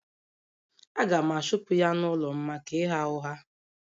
Aga m achụpụ ya n’ụlọ m maka ịgha ụgha.